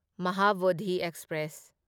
Mahabodhi express